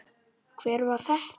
Hver var þetta?